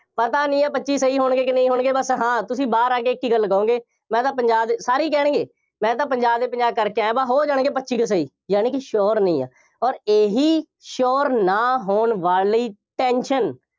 ਪਤਾ ਨਹੀਂ ਹੈ, ਪੱਚੀ ਸਹੀ ਹੋਣਗੇ ਕਿ ਨਹੀਂ ਹੋਣਗੇ, ਬਸ ਹਾਂ ਤੁਸੀਂ ਬਾਹਰ ਆ ਕੇ ਇੱਕ ਹੀ ਗੱਲ ਕਹੋਂਗੇ, ਮੈਂ ਤਾਂ ਪੰਜਾਹ ਦੇ, ਸਾਰੇ ਹੀ ਕਹਿਣਗੇ, ਮੈਂ ਤਾਂ ਪੰਜਾਹ ਦੇ ਪੰਜਾਹ ਕਰਕੇ ਆਇਆਂ, ਬਸ ਹੋ ਜਾਣਗੇ ਪੱਚੀ ਕੁ ਸਹੀ। ਯਾਨੀ ਕਿ sure ਨਹੀਂ ਹੈ ਅੋਰ ਇਹੀ sure ਨਾ ਹੋਣ ਵਾਲੀ tension